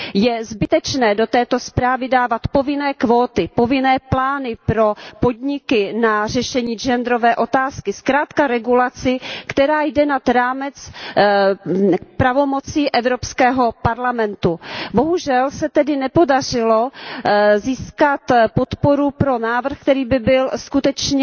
Je zbytečné do této zprávy dávat povinné kvóty, povinné plány pro podniky na řešení genderové otázky, zkrátka regulaci, která jde nad rámec pravomocí Evropského parlamentu. Bohužel se tedy nepodařilo získat podporu pro návrh, který by byl skutečně